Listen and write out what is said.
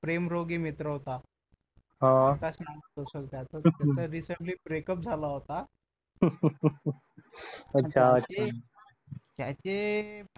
प्रेमरोगी मित्र होता आकाश नावाचा सर त्याच recently break up झाला होता त्याचे